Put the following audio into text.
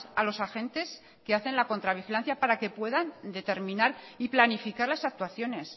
a los agentes que hacen la contra vigilancia para que puedan determinar y planificar las actuaciones